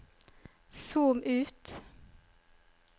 zoom ut